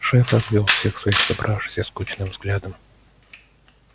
шеф обвёл всех своих собравшихся скучным взглядом